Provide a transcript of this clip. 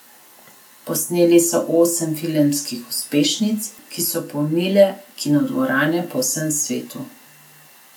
Posneli so osem filmskih uspešnic, ki so polnile kinodvorane po vsem svetu.